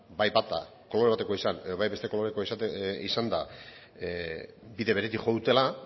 bai bata kolore batekoa izan edo bai beste kolorekoa izanda bide beretik jo dutela